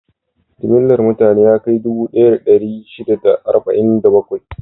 Jimllar mutane ya kai dubu ɗaya da ɗari shida da arba'in da bakwai.